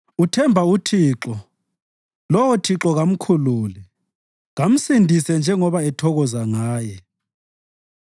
“Uthemba uThixo lowo Thixo kamkhulule. Kamsindise njengoba ethokoza ngaye.”